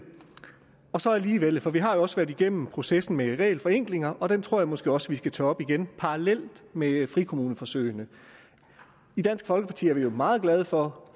og så alligevel for vi har jo også været igennem processen med regelforenklinger og den tror jeg måske også at vi skal tage op igen parallelt med frikommuneforsøgene i dansk folkeparti er vi meget glade for